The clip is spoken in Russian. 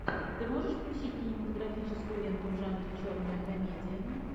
ты можешь включить кинематографическую ленту в жанре черная комедия